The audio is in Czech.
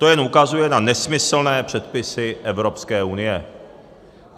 To jen ukazuje na nesmyslné předpisy Evropské unie.